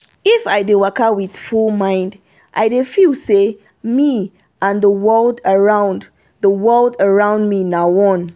if i dey waka with full mind i dey feel say me and the world around the world around me na one